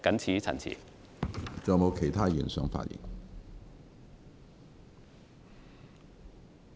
是否有其他議員想發言？